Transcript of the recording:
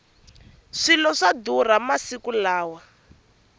swilo swa durha masiku lawa